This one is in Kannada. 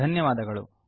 ಧನ್ಯವಾದಗಳು